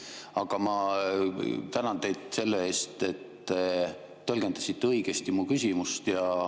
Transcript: Aga ma tänan teid selle eest, et te tõlgendasite õigesti mu küsimust.